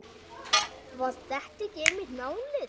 Var þetta ekki einmitt málið?